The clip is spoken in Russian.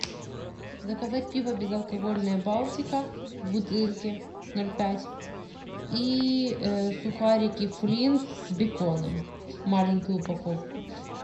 заказать пиво безалкогольное балтика в бутылке ноль пять и сухарики флинт с беконом маленькую упаковку